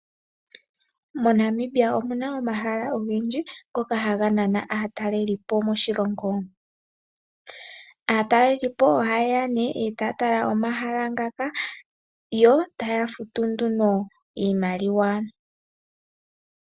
MoNamibia omuna omahala ogendji ngoka haga nana aatalelipo moshilongo. Aatalelipo oha yeya etaya tala omahala ngaka yo taya futu nduno iimaliwa.